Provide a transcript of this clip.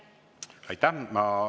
Aitäh!